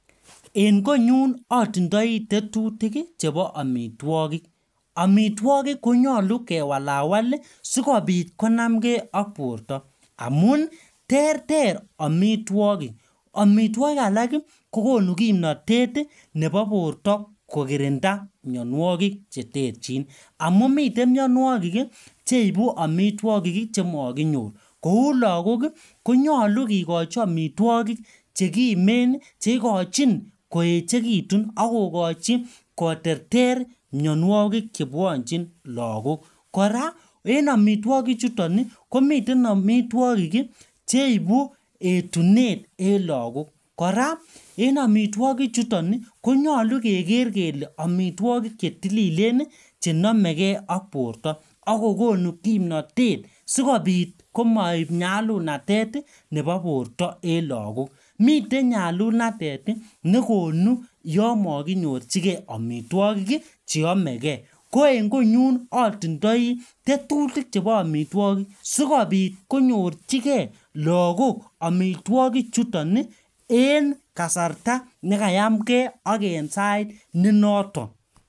En konyun otindoi tetutik chebo omitwogik, omitwogik konyolu kewalawal ii sikobit konamkee ak borto amun terter omitwogik, omitwogik alak kokonu kimnotet ii nebo borto kokirinda mionuokik cheterjin amun miten mionuokik cheibu omitwogik ii chemokinyor kou lagok ii konyolu kikochi omitwogik chekimen ii cheikojin koechekitun akokochi koterter minuokik chebwonjin lagok koraa en omitwokichuton ii komiten omitwogik cheibu etunet en lagok, koraa en omitwokichuton ii konyolu keker kele omitwogik chetililen ii chenomekee ak borto ak kokonu kimnotet sikobit komoib nyalulnatet ii nebo borto en lagok, miten nyalulnatet nekonu yon mokinyorjigee omitwogik cheome kee ko en konyolu otindoi tetutik chebo omitwogik sikobit konyorjigee lagok omitwokichuton ii en kasarta nekayamkee ak en kasarta nebotok